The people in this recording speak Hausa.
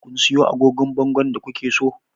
Kun siyo agogon bangon da ku ke so?